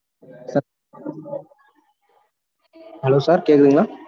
hello sir கேக்குதுங்களா?